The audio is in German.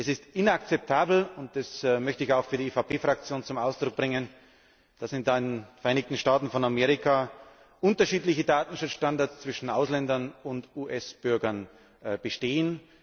Es ist inakzeptabel und das möchte ich auch für die EVP Fraktion zum Ausdruck bringen dass in den Vereinigten Staaten von Amerika unterschiedliche Datenschutzstandards zwischen Ausländern und US Bürgern bestehen.